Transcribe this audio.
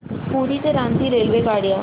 पुरी ते रांची रेल्वेगाड्या